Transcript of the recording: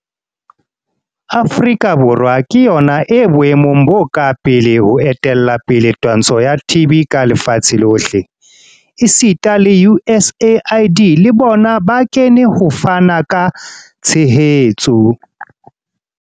Afrika Borwa ke yona e boemong bo ka pele ho etella pele twantsho ya TB ka lefatsheng lohle, esita le USAID le bona bo kene ho fana ka tshehetso.